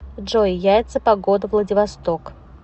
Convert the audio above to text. джой яйца погода владивосток